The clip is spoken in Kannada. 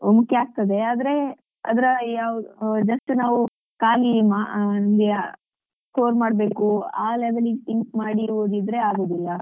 ಮುಖ್ಯ ಆಗ್ತದೆ ಆದ್ರೆ ಅದ್ರ ಯಾವು just ನಾವು ಖಾಲಿ ಮಾ~ ಆ score ಮಾಡ್ಬೇಕು ಆ level ಗೆ think ಮಾಡಿ ಓದಿದ್ರೆ ಆಗುದಿಲ್ಲ.